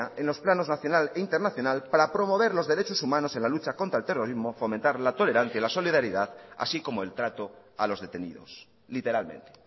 en los planos nacional e internacional para promover los derechos humanos en la lucha contra el terrorismo fomentar la tolerancia y la solidaridad así como el trato a los detenidos literalmente